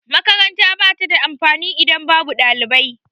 Makaranta ba ta da amfani idan babu ɗalibai.